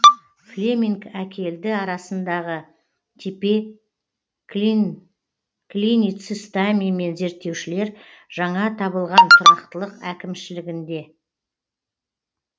флеминг әкелді арасындағы тепе клиницистами мен зерттеушілер жаңа табылған тұрақтылық әкімшілігінде